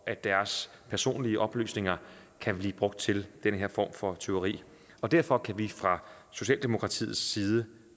at deres personlige oplysninger kan blive brugt til den her form for tyveri derfor kan vi fra socialdemokratiets side